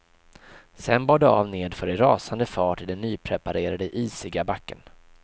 Sen bar det av nedför i rasande fart i den nypreparerade isiga backen.